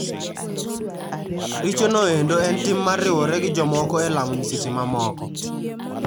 Richo noendo en tim mar riwore gi jomoko e lamo nyiseche mamoko.